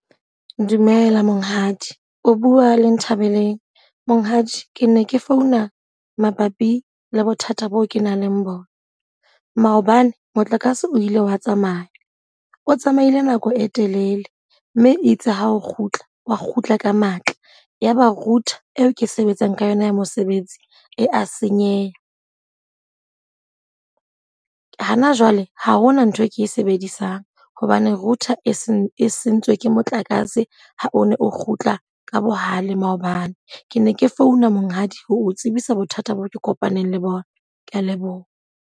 Dumela monghadi. O bua le Nthabeleng. Monghadi, ke ne ke founa mabapi le bothata bo o ke nang le bona. Maobane motlakase o ile wa tsamaya, o tsamaile nako e telele. Mme itse ha o kgutla xwa kgutla ka matla. Ya ba router eo ke sebetsang ka yona ya mosebetsi e a senyeha. Hana jwale ha hona ntho e ke e sebedisang hobane router e se sentswe ke motlakase ha o ne o kgutla ka bohale maobane. Ke ne ke founa Monghadi ho tsebisa bothata bo o ke kopaneng le bona. Ke a leboha.